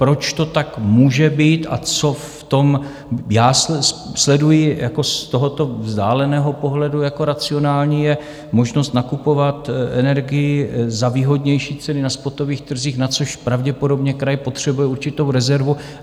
Proč to tak může být a co v tom já sleduji z tohoto vzdáleného pohledu jako racionální, je možnost nakupovat energii za výhodnější ceny na spotových trzích, na což pravděpodobně kraj potřebuje určitou rezervu.